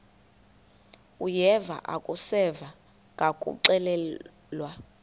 uyeva akuseva ngakuxelelwa